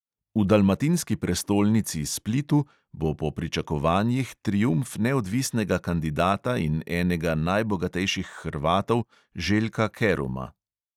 V dalmatinski prestolnici splitu po pričakovanjih triumf neodvisnega kandidata in enega najbogatejših hrvatov željka keruma.